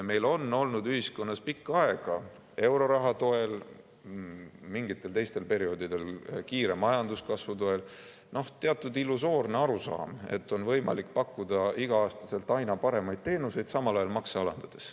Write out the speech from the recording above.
Meil on olnud ühiskonnas pikka aega euroraha toel, mingitel teistel perioodidel kiire majanduskasvu toel teatud illusoorne arusaam, et on võimalik pakkuda iga-aastaselt aina paremaid teenuseid, samal ajal makse alandades.